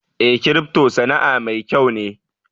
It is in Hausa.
Eh, "crypto" Sana'a mai kyau ne.